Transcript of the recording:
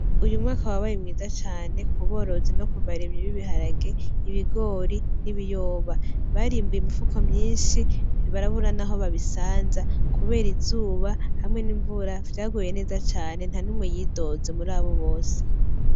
Umwaka wabaye mwiza cane kuborozi no kubarimyi b'ibiharage b'ibigori n'ibiyoba barimbuye imifuko myinshi barabura naho babisanza kubera izuba hamwe n'imvura vyaguye neza cane ntanumwe y'idoze muri abo bose